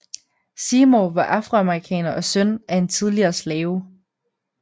Seymour var afroamerikaner og søn af en tidligere slave